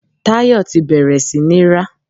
Tayọ ti bẹ̀rẹ̀ sí ní rá.